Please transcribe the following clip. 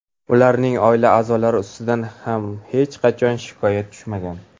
Ularning oila a’zolari ustidan ham hech qachon shikoyat tushmagan.